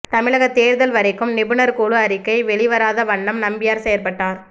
தமிழக தேர்தல் வரைக்கும் நிபுணர் குழு அறிக்கை வெளிவராத வண்ணம் நம்பியார் செயற்பட்டார்